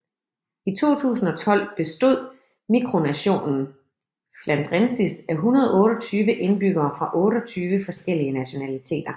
I 2012 bestod mikronationen Flandrensis af 128 indbyggere fra 28 forskellige nationaliteter